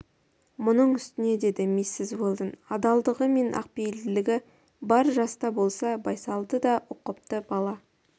мұның үстіне деді миссис уэлдон адалдығы мен ақпейілдігі бар жас та болса байсалды да ұқыпты бала